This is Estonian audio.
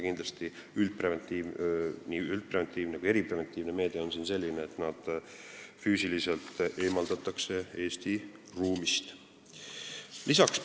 Nii üldpreventiivne kui ka eripreventiivne meede on siin see, et nad füüsiliselt Eesti riigist eemaldatakse.